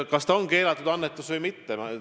Kas ta on keelatud annetus või mitte?